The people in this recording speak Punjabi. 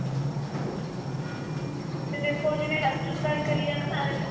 ਤੇ ਦੇਖੋ ਜਿਵੇਂ western style ਕਰੀਏ ਨਾ marriage